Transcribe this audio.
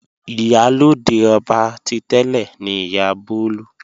Ìyálóde ọba ti tẹ́lẹ̀ ni Ìyá Bólú.